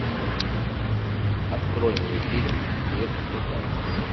открой мне фильм мир мутантов